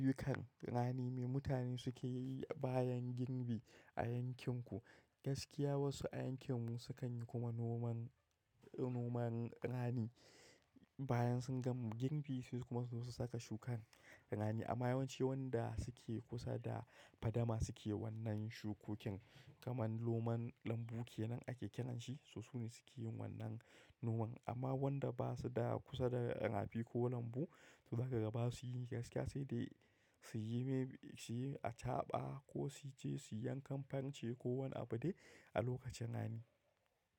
Ayyukan rani me mutane suke yi bayan girbi a yankin ku? Gaskiya wasu a yankin mu sukan yi kuma noman, noman rani. Bayan sun gama girbi sai kuma su zo su saka shukar rani. Amma yawanci wanda suke kusa da fadama suke wannan shukokin, kamar noman lambu kenan ake kiran shi, so sune suke yin wannan noman. Amma wanda basu da kusa da raf ko lambu to za ka ga basu yi gaskiya sai dai suyi me, suyi acaɓa ko su je su yankan farce ko wani abu dai a lokacin rani.